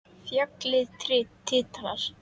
Fjallið titrar.